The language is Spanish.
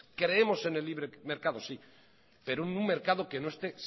creemos en el libre mercado sí pero en un mercado que no esté